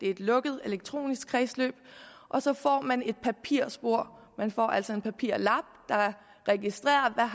et lukket elektronisk kredsløb og så får man tredje et papirspor man får altså en papirlap der registrerer